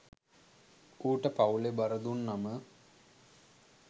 ඌට පවුලේ බර දුන්නම